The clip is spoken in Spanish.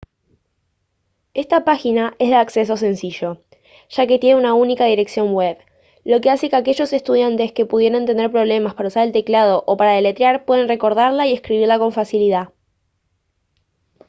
esta página es de acceso sencillo ya que tiene una única dirección web lo que hace que aquellos estudiantes que pudieren tener problemas para usar el teclado o para deletrear puedan recordarla y escribirla con facilidad